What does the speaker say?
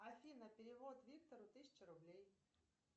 афина перевод виктору тысяча рублей